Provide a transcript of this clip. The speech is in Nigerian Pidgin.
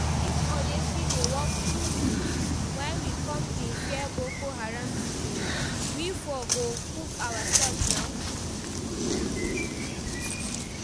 If odeshi dey work true true, why we come dey fear Boko Haram people? We for go cook ourselves nah